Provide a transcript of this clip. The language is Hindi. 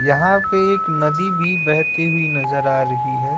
यहां पे एक नदी भी बहती हुई नजर आ रही है।